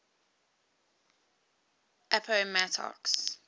appomattox